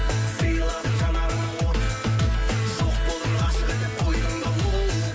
сыйладың жанарыма от жоқ болдың ғашық етіп қойдың да оу